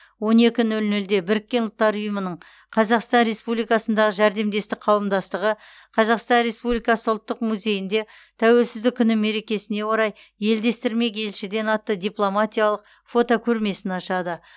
он екі нөл нөлде біріккен ұлттар ұйымының қазақстан республикасындағы жәрдемдестік қауымдастығы қазақстан республикасы ұлттық музейінде тәуелсіздік күні мерекесіне орай елдестірмек елшіден атты дипломатиялық фотокөрмесін ашады